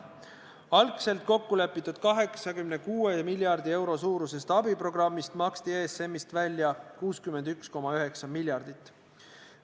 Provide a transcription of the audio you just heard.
Algselt kokkulepitud 86 miljardi euro suurusest abiprogrammist maksti ESM-ist välja 61,9 miljardit.